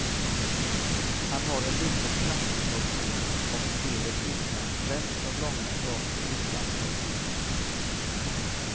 Han har en liten knastertorr ton och spelet utmärks främst av långa fraser utan pauseringar.